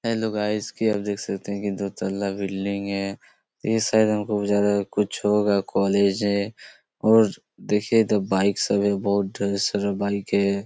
Hello guys की आप देख सकते है दो तला बिल्डिंग है ए शायद हमको जायदा कुछ होगा कॉलेज है और देखिये इधर बाइक सब है बहुत ढेर सारा बाइक है।